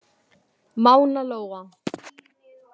Mána Lóa.